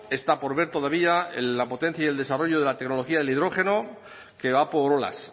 está por ver todavía la potencia y el desarrollo de la tecnología del hidrógeno que va por olas